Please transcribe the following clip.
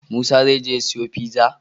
Musa zai je ya siyo pizza?